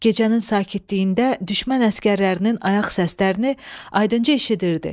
Gecənin sakitliyində düşmən əsgərlərinin ayaq səslərini aydınca eşidirdi.